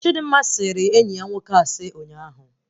Chidimma sịrị enyi ya nwoke asị ụnyaahụ